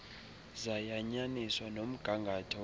zayanyaniswa nomgangatho welo